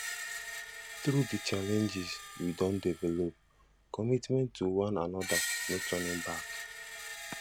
through the challenges we don develop commitment to one another no turning back